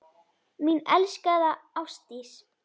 Mín elskaða Ásdís.